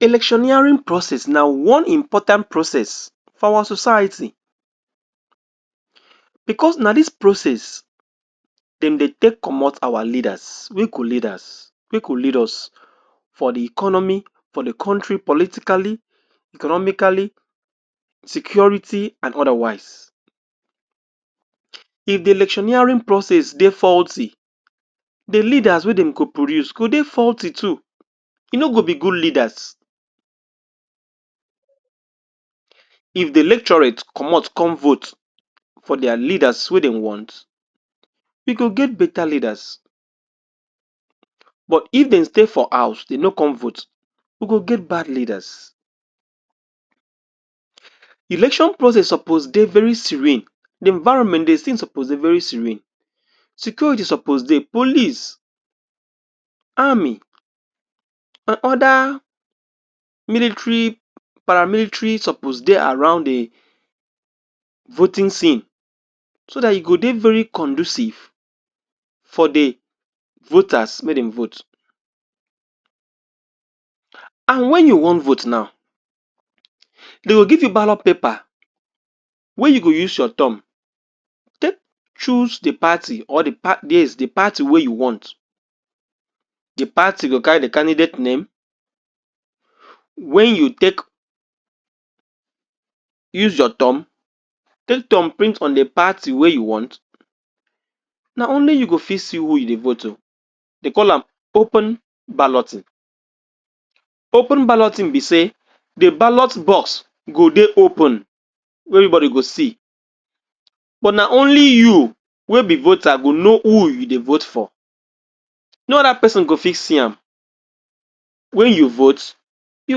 electioneering process na one important process for our society because na dis process dem dey take comot awa leaders wey go lead us for the economy for the country politically, economically security and other wise if the electioneering process dey faulty the leaders wey dem go produce go dey faulty too e no go be good leaders if the electorate comot come vote for dia leaders wey den want e go get beta leaders but if den stay for house de no come vote we go get bad leaders election process suppose dey very serene the environment suppose dey very serene security suppose dey, police Army and other military para military suppose dey around the voting scene so dat e go dey very conducive for the voters mey den vote and wen you wan vote now dey go give you ballot paper wey you go use your thumb take choose the party wey you want the party go carry the candidate name wey you take use your thumb take thumbprint for the party wey you want na only you go fit see who you dey vote o dey call am open balloting open balloting be sey the ballot box go dey open wey every body go see but na only you wey be voter go know who you dey vote for no other person go fit see am wey you vote you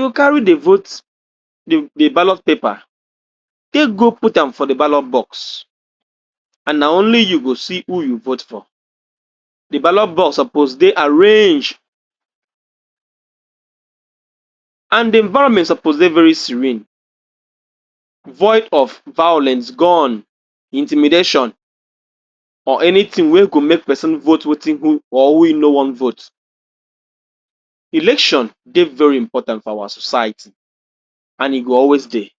go carry the vote, the ballot paper take go putam for the ballot box and na only you go see who you vote for the ballot box suppose dey arrange and the environment suppose dey very serene void of violence gone intimidation or anything wey go make person vote wetin who or who e no wan vote election dey very important for awa society and e go always dey